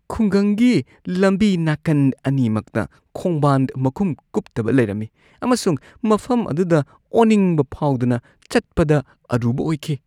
ꯈꯨꯡꯒꯪꯒꯤ ꯂꯝꯕꯤ ꯅꯥꯀꯟ ꯑꯅꯤꯃꯛꯇ ꯈꯣꯡꯕꯥꯟ ꯃꯈꯨꯝ ꯀꯨꯞꯇꯕ ꯂꯩꯔꯝꯃꯤ ꯑꯃꯁꯨꯡ ꯃꯐꯝ ꯑꯗꯨꯗ ꯑꯣꯅꯤꯡꯕ ꯐꯥꯎꯗꯅ ꯆꯠꯄꯗ ꯑꯔꯨꯕ ꯑꯣꯏꯈꯤ ꯫